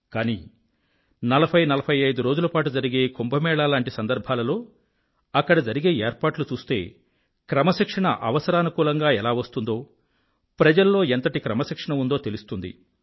కానీ నలభైనలభై ఐదు రోజుల పాటు జరిగే కుంభ మేళాలాంటి సందర్భాలలో జరిగే ఏర్పాట్లు చూస్తే క్రమశిక్షణ అవసరానుకూలంగా ఎలా వస్తుందో ప్రజల్లో ఎంత క్రమశిక్షణ ఉందో తెలుస్తుంది